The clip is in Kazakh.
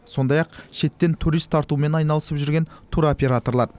сондай ақ шеттен турист тартумен айналысып жүрген туроператорлар